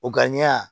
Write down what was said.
O gariya